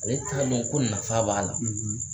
Ale t'a dɔn ko nafa b'a la